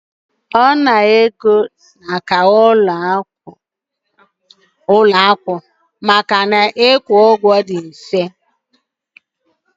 Ọ nara ego ahụ n'aka ụlọ akụ ndị na-abụghị ọmụrụ nwa maka ịkwụ ụgwọ dị mfe.